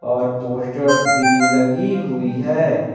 और पोस्टर्स भी लगी हुई है।